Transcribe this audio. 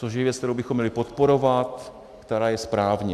Což je věc, kterou bychom měli podporovat, která je správně.